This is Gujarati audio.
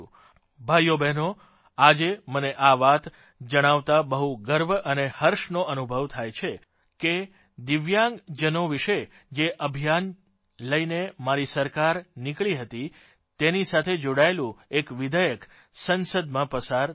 ભાઇઓબ્હેનો આજે મને આ વાત જણાવતાં બહુ ગર્વ અને હર્ષનો અનુભવ થાય છે કે દિવ્યાંગજનો વિષે જે અભિયાન લઇને મારી સરકાર નીકળી હતી તેની સાથે જોડાયેલું એક વિધેયક સંસદમાં પસાર થઇ ગયું